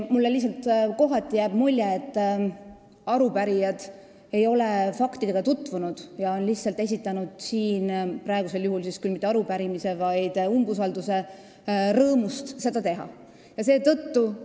Mulle jääb kohati mulje, et arupärijad ei ole faktidega tutvunud ja on esitanud arupärimise – praegu küll mitte arupärimise, vaid umbusaldusavalduse – lihtsalt esitamise rõõmust.